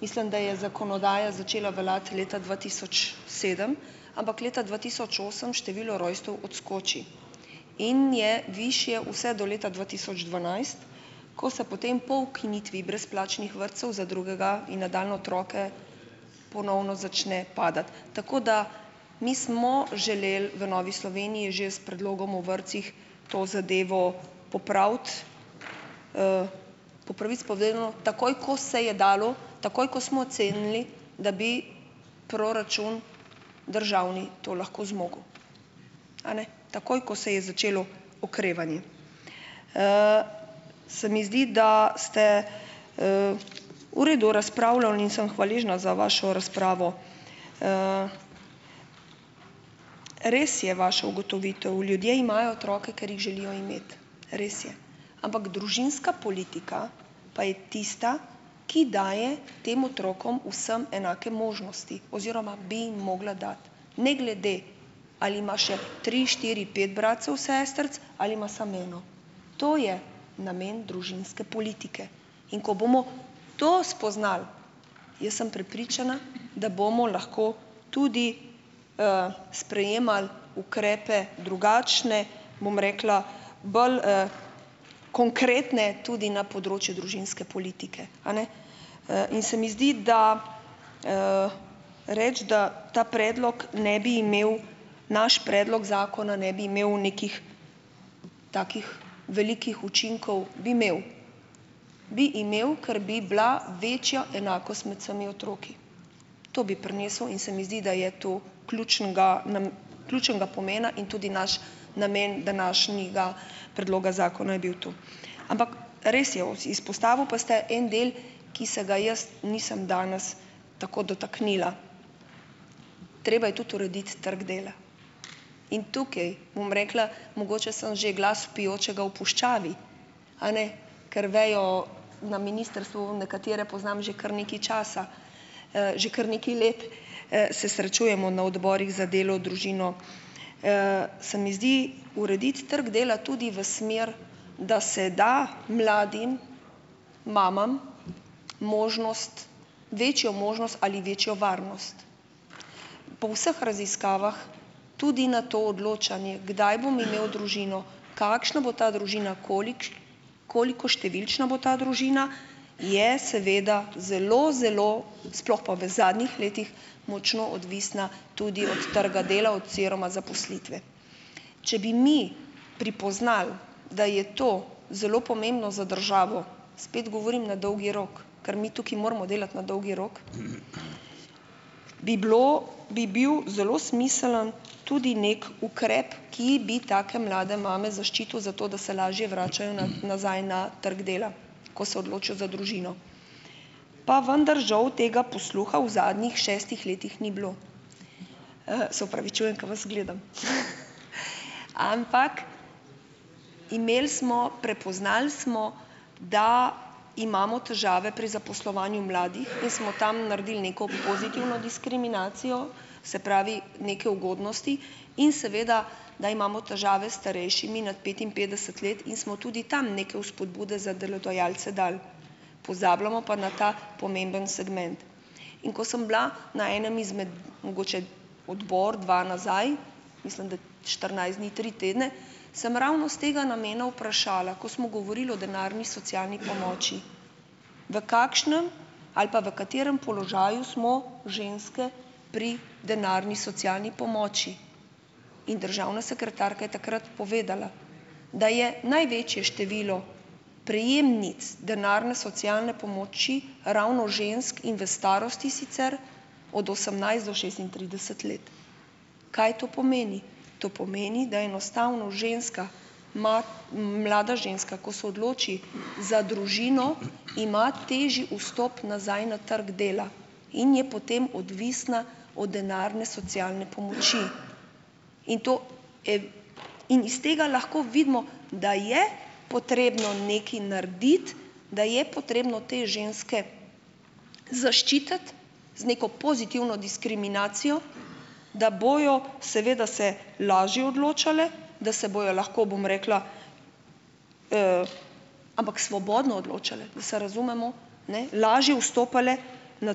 mislim, da je zakonodaja začela veljati leta dva tisoč sedem - ampak leta dva tisoč osem število rojstev odskoči. In je višje vse do leta dva tisoč dvanajst, ko se potem po ukinitvi brezplačnih vrtcev za drugega in nadaljnje otroke ponovno začne padati. Tako da - mi smo želeli v Novi Sloveniji že s predlogom o vrtcih to zadevo popraviti, po pravici povedano, takoj, ko se je dalo, takoj, ko smo ocenili, da bi proračun državni to lahko zmogel, a ne, takoj, ko se je začelo okrevanje. Se mi zdi, da ste v redu razpravljal in sem hvaležna za vašo razpravo. Res je vaša ugotovitev, ljudje imajo otroke, ker jih želijo imeti, res je, ampak družinska politika pa je tista, ki daje tem otrokom vsem enake možnosti oziroma bi jim mogla dati ne glede, ali ima še tri, štiri, pet bratcev, sestric ali ima samo eno. To je namen družinske politike. In ko bomo to spoznali, jaz sem prepričana, da bomo lahko tudi, sprejemali ukrepe drugačne, bom rekla, bolj, konkretne tudi na področju družinske politike, a ne. In se mi zdi, da reči, da ta predlog ne bi imel, naš predlog zakona ne bi imel nekih takih velikih učinkov, bi imel, bi imel, ker bi bila večja enakost med vsemi otroki. To bi prinesel. In se mi zdi, da je to ključnega ključnega pomena in tudi naš namen današnjega predloga zakona je bil tu. Ampak res je, izpostavil pa ste en del, ki se ga jaz nisem danes tako dotaknila. Treba je tudi urediti trg dela. In tukaj, bom rekla, mogoče sem že glas vpijočega v puščavi, a ne, ker vejo, na ministrstvu, nekatere poznam že kar nekaj časa, že kar nekaj let, se srečujemo na odborih za delo, družino. Se mi zdi urediti trg dela tudi v smer, da se da mladim mamam možnost, večjo možnost ali večjo varnost. Po vseh raziskavah tudi na to odločanje, kdaj bom imel družino, kakšna bo ta družina, koliko številčna bo ta družina, je seveda zelo, zelo, sploh pa v zadnjih letih, močno odvisna tudi od trga dela oziroma zaposlitve. Če bi mi pripoznali, da je to zelo pomembno za državo, spet govorim na dolgi rok, ker mi tukaj moramo delati na dolgi rok, bi bilo, bi bil zelo smiseln tudi neki ukrep, ki bi take mlade mame zaščitil, zato da se lažje vračajo na nazaj na trg dela, ko se odločijo za družino. Pa vendar, žal, tega posluha v zadnjih šestih letih ni bilo. Se opravičujem, ko vas gledam. Ampak imeli smo, prepoznali smo, da imamo težave pri zaposlovanju mladih in smo tam naredili neko pozitivno diskriminacijo, se pravi neke ugodnosti, in seveda, da imamo težave s starejšimi nad petinpetdeset let in smo tudi tam neke vzpodbude za delodajalce dali. Pozabljamo pa na ta pomemben segment. In ko sem bila na enem izmed, mogoče odbor, dva nazaj, mislim, da štirinajst dni, tri tedne, sem ravno s tega namena vprašala, ko smo govorili o denarni socialni pomoči, v kakšnem ali pa v katerem položaju smo ženske pri denarni socialni pomoči. In državna sekretarka je takrat povedala, da je največje število prejemnic denarne socialne pomoči ravno žensk in v starosti, sicer od osemnajst do šestintrideset let. Kaj to pomeni? To pomeni, da enostavno ženska, mlada ženska, ko se odloči za družino, ima težji vstop nazaj na trg dela in je potem odvisna o denarne socialne pomoči. In to in iz tega lahko vidimo, da je potrebno nekaj narediti, da je potrebno te ženske zaščititi z neko pozitivno diskriminacijo, da bojo seveda se lažje odločale, da se bojo lahko, bom rekla, ampak svobodno odločale, da se razumemo, ne, lažje vstopale na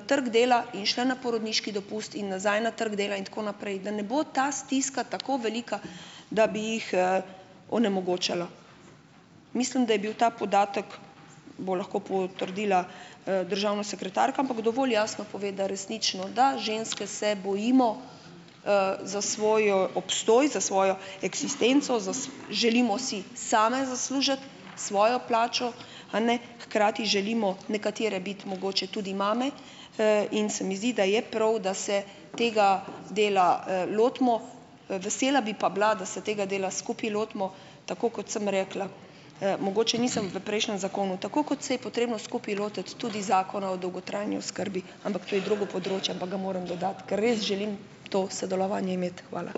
trg dela in šle na porodniški dopust in nazaj na trg dela in tako naprej, da ne bo ta stiska tako velika, da bi jih, onemogočala. Mislim, da je bil ta podatek, bo lahko potrdila, državna sekretarka, ampak dovolj jasno pove, da resnično, da ženske se bojimo, za svoj obstoj, za svojo eksistenco, želimo si same zaslužiti svojo plačo, a ne, hkrati želimo nekatere biti mogoče tudi mame, in se mi zdi, da je prav, da se tega dela, lotimo. Vesela bi pa bila, da se tega dela skupaj lotimo, tako kot sem rekla. Mogoče nisem v prejšnjem zakonu - tako kot se je potrebno skupaj lotiti tudi Zakona o dolgotrajni oskrbi, ampak to je drugo področje, ampak ga moram dodati, ker res želim to sodelovanje imeti. Hvala.